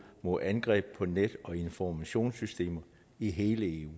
mod angreb på net og informationssystemer i hele eu